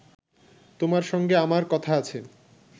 তোমার সঙ্গে আমার কথা আছে